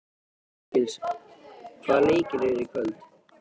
Hergils, hvaða leikir eru í kvöld?